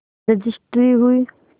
registry हुई